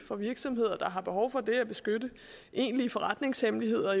for virksomheder der har behov for det at beskytte egentlige forretningshemmeligheder